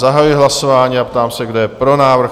Zahajuji hlasování a ptám se, kdo je pro návrh?